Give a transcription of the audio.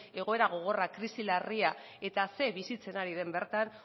egoera gogorra krisi larria eta ze bizitzen ari den bertan